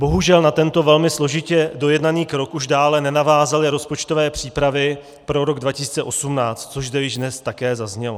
Bohužel na tento velmi složitě dojednaný krok už dále nenavázaly rozpočtové přípravy pro rok 2018, což zde již dnes také zaznělo.